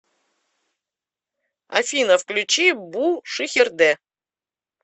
афина включи бу шихерде